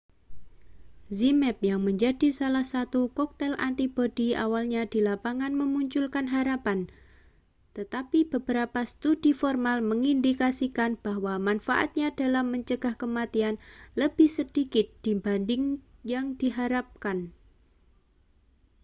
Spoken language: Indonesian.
zmapp yang menjadi salah satu koktail antibodi awalnya di lapangan memunculkan harapan tetapi beberapa studi formal mengindikasikan bahwa manfaatnya dalam mencegah kematian lebih sedikit dibanding yang diharapkan